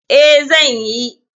Eh, zan yi.